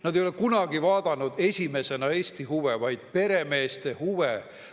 Nad ei ole kunagi esimesena vaadanud Eesti huve, vaid peremeeste huve.